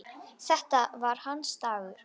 Þetta var hans dagur.